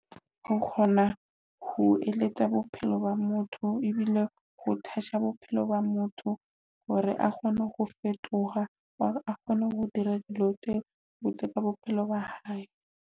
Ho kgona ho eletsa bophelo ba motho ebile ho touch bophelo ba motho hore a kgone ho fetoha, hore a kgone ho dira dilo tse botse ka bophelo ba hae.